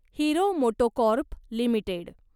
hero MotoCorp limited